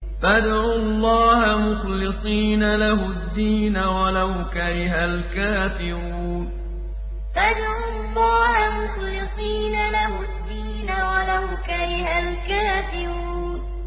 فَادْعُوا اللَّهَ مُخْلِصِينَ لَهُ الدِّينَ وَلَوْ كَرِهَ الْكَافِرُونَ فَادْعُوا اللَّهَ مُخْلِصِينَ لَهُ الدِّينَ وَلَوْ كَرِهَ الْكَافِرُونَ